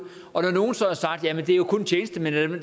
og når nogle så har sagt jamen det er jo kun tjenestemænd og